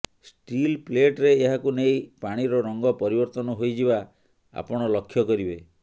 steel ପ୍ଳେଟରେ ଏହାକୁ ନେଲେ ପାଣିର ରଙ୍ଗ ପରିବର୍ତନ ହୋଇଯିବା ଆପଣ ଲକ୍ଷ୍ୟ କରିବେ